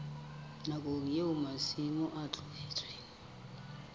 nakong eo masimo a tlohetsweng